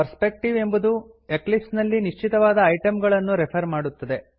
perspective ಎಂಬುದು Eclipse ನಲ್ಲಿ ನಿಶ್ಚಿತವಾದ ಐಟಮ್ ಗಳನ್ನು ರೆಫರ್ ಮಾಡುತ್ತದೆ